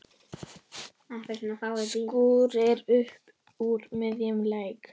Skúrir upp úr miðjum leik.